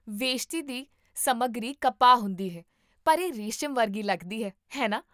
ਵੇਸ਼ਤੀ ਦੀ ਸਮੱਗਰੀ ਕਪਾਹ ਹੁੰਦੀ ਹੈ, ਪਰ ਇਹ ਰੇਸ਼ਮ ਵਰਗੀ ਲੱਗਦੀ ਹੈ, ਹੈ ਨਾ?